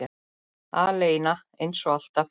Aleina, eins og alltaf.